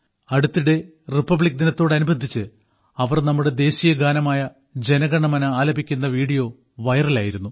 അടുത്തിടെ റിപ്പബ്ലിക് ദിനത്തോടനുബന്ധിച്ച് അവർ നമ്മുടെ ദേശീയ ഗാനമായ ജന ഗണ മന ആലപിക്കുന്ന വീഡിയോ വൈറലായിരുന്നു